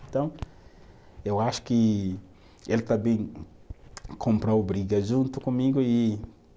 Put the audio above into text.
Então, eu acho que ele também comprou briga junto comigo e